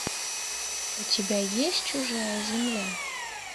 у тебя есть чужая земля